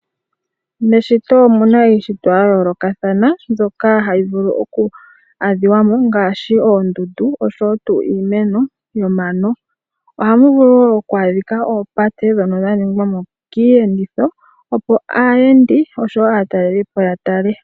Meshito omuna iishitwa yayoolokathana mbyoka hayi vulu oku adhiwa mo ngaashi oondundu, osho woo tuu iimeno nomano. Ohamu vulu woo oku a dhika mo oopate dhono dha ningwa mo kiiyenditho opo aayendi osho woo aataleliipo ya tale.